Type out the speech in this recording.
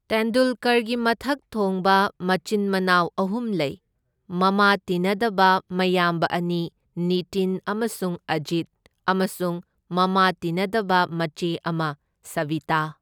ꯇꯦꯟꯗꯨꯜꯀꯔꯒꯤ ꯃꯊꯛ ꯊꯣꯡꯕ ꯃꯆꯤꯟ ꯃꯅꯥꯎ ꯑꯍꯨꯝ ꯂꯩ, ꯃꯃꯥ ꯇꯤꯟꯅꯗꯕ ꯃꯌꯥꯝꯕ ꯑꯅꯤ ꯅꯤꯇꯤꯟ ꯑꯃꯁꯨꯡ ꯑꯖꯤꯠ, ꯑꯃꯁꯨꯡ ꯃꯃꯥ ꯇꯤꯟꯅꯗꯕ ꯃꯆꯦ ꯑꯃ ꯁꯕꯤꯇꯥ꯫